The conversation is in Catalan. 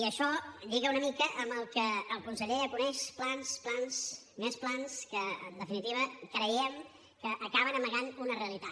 i això lliga una mica amb el que el conseller ja coneix plans plans més plans que en definitiva creiem que acaben amagant una realitat